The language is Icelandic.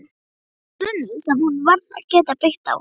Það var grunnur sem hún varð að geta byggt á.